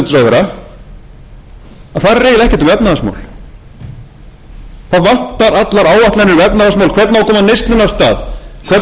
það vantar allar áætlanir um efnahagsmál hvernig á að koma neyslunni af stað